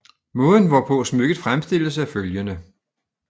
Måden hvorpå smykket fremstilles er følgende